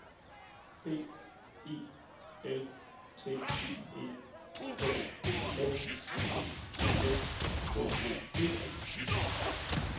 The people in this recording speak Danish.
B I L T E K N I S K E